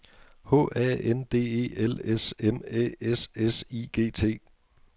H A N D E L S M Æ S S I G T